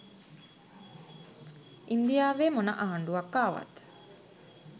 ඉන්දියාවෙ මොන ආණ්ඩුවක් ආවත්